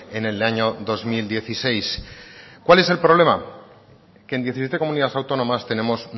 en el año dos mil dieciséis cuál es el problema que en diecisiete comunidades autónomas tenemos